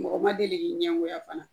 Mɔgɔ ma deli k'i ɲɛngoya fana?